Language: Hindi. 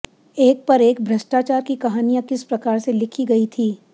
एक पर एक भ्रष्टाचार की कहानियां किस प्रकार से लिखी गयी थी